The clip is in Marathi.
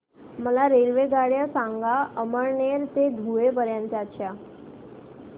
मला रेल्वेगाड्या सांगा अमळनेर ते धुळे पर्यंतच्या